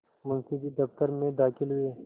मुंशी जी दफ्तर में दाखिल हुए